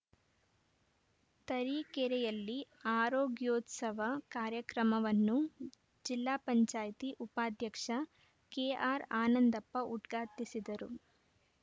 ತರೀಕೆರೆಯಲ್ಲಿ ಆರೋಗ್ಯೋತ್ಸವ ಕಾರ್ಯಕ್ರಮವನ್ನು ಜಿಲ್ಲಾ ಪಂಚಾಯತ್ ಉಪಾಧ್ಯಕ್ಷ ಕೆಆರ್‌ಆನಂದಪ್ಪ ಉದ್ಘಾಟಿಸಿದರು